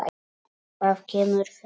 Það kemur fyrir.